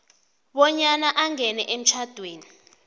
bonyana angene emtjhadweni